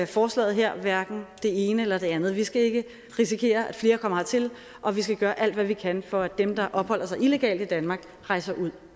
forslaget her hverken det ene eller det andet vi skal ikke risikere at flere kommer hertil og vi skal gøre alt hvad vi kan for at dem der opholder sig illegalt i danmark rejser ud